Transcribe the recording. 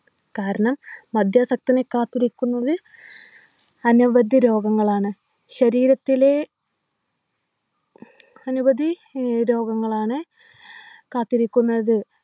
കാരണം മദ്യാസക്തനെ കാത്തിരിക്കുന്നത് അനവധി രോഗങ്ങളാണ് ശരീരത്തിലെ അനവധി ഏർ രോഗങ്ങളാണ് കാത്തിരിക്കുന്നത്